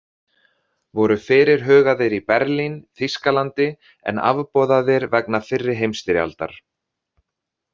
Voru fyrirhugaðir í Berlín, Þýskalandi, en afboðaðir vegna fyrri heimsstyrjaldar.